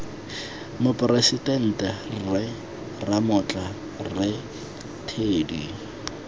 moporesidente rre ramotla rre teddy